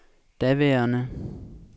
daværende